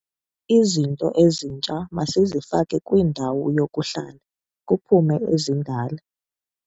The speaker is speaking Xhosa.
Izitulo ezitsha masizifake kwindawo yokuhlala, kuphume ezidala.